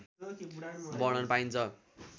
वर्णन पाइन्छ